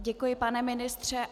Děkuji, pane ministře.